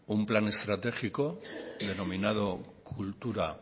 un plan estratégico denominado kultura